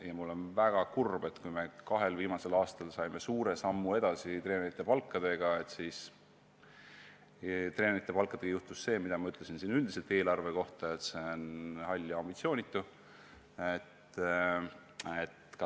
Ma olen väga kurb, et kui me kahel viimasel aastal saime treenerite palkadega astuda suure sammu edasi, siis nüüd käib ka treenerite palkade kohta see, mida ma ütlesin siin üldiselt eelarve kohta: see on hall ja ambitsioonitu.